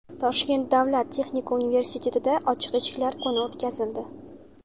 Toshkent davlat texnika universitetida ochiq eshiklar kuni o‘tkazildi.